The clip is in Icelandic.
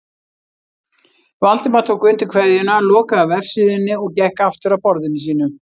Valdimar tók undir kveðjuna, lokaði vefsíðunni og gekk aftur að borðinu sínu.